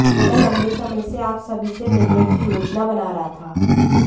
मैं लंबे समय से आप सभी से मिलने की योजना बना रहा था